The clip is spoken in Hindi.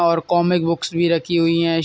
और कॉममिक्स बुक्स भी रखी हुई है।